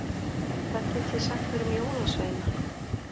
Hvað getiði sagt mér um jólasveina?